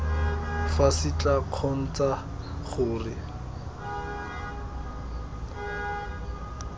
fa se tla kgontsha gore